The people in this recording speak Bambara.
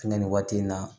Nga nin waati in na